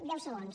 deu segons